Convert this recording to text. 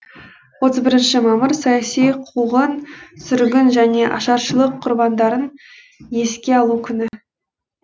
отыз бірінші мамыр саяси қуғын сүргін және ашаршылық құрбандарын еске алу күні